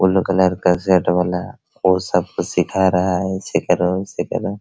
blue colour का shirt वाला वो सब को सीखा रहा है